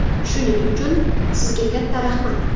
Shuning uchun, sizga katta rahmat.